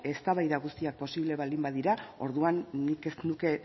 eztabaida guztiak posible baldin badira orduan nik ez nuke